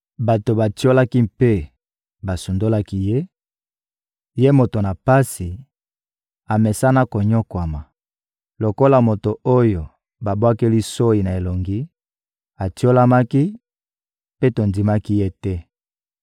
Bato batiolaki mpe basundolaki ye, ye moto na pasi, amesana konyokwama. Lokola moto oyo babwakeli soyi na elongi, atiolamaki, mpe tondimaki ye te.